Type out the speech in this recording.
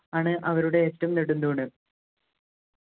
ആണ് അവരുടേ ഏറ്റവും നെടുംതൂണ്